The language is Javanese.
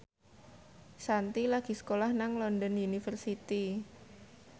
Shanti lagi sekolah nang London University